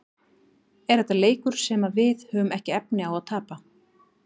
Er þetta leikur sem að við höfum ekki efni á að tapa?